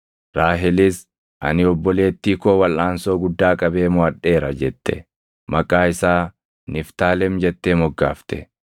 Raahelis, “Ani obboleettii koo walʼaansoo guddaa qabee moʼadheera” jette. Maqaa isaa Niftaalem jettee moggaafte.